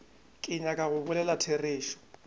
ke nyaka go bolela therešo